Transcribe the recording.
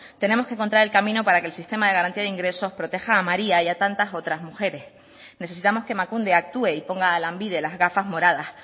tenemos que encontrar el camino para que el sistema de garantía de ingresos proteja a maría y a tantas otras mujeres necesitamos que emakunde actué y ponga a lanbide las gafas moradas